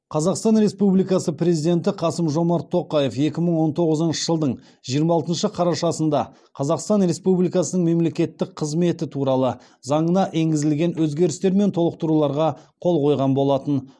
қазақстан республикасы президенті қасым жомарт тоқаев екі мың он тоғызыншы жылдың жиырма алтыншы қарашасында қазақстан республикасының мемлекеттік қызметі туралы заңына енгізілген өзгерістер мен толықтыруларға қол қойған болатын